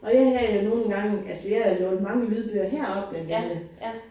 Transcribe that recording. Og jeg havde jo nogle gange altså jeg har lånt mange lydbøger heroppe nemlig